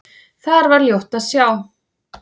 Þar var ljótt að sjá.